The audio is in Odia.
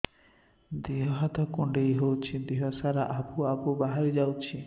ଦିହ ହାତ କୁଣ୍ଡେଇ ହଉଛି ଦିହ ସାରା ଆବୁ ଆବୁ ବାହାରି ଯାଉଛି